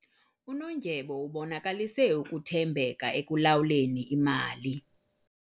Unondyebo ubonakalise ukuthembeka ekulawuleni imali.